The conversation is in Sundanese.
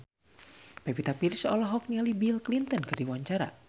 Pevita Pearce olohok ningali Bill Clinton keur diwawancara